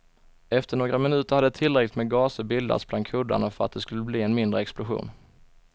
Efter några minuter hade tillräckligt med gaser bildats bland kuddarna för att det skulle bli en mindre explosion.